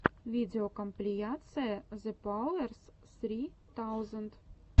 видеокомпиляция зэпауэрс ссри таузенд